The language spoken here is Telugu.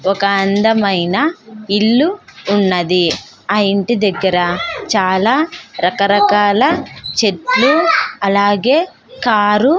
ఒక అందమైన ఇల్లు ఉన్నది ఆ ఇంటి దగ్గర చాలా రకరకాల చెట్లు అలాగే కారు --